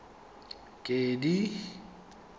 kedi